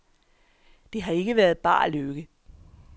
Det har ikke været bar lykke.